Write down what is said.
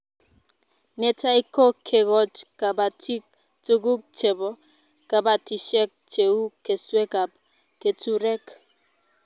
Netai ko kekoch kabatig tuguk chebo kabatishet cheu keswek ak keturek